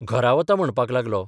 घरा वतां म्हणपाक लागलो.